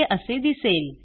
हे असे दिसेल